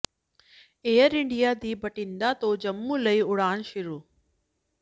air India ਦੀ ਬਠਿੰਡਾ ਤੋਂ ਜੰਮੂ ਲਈ ਉਡਾਣ ਸ਼ੁਰੂ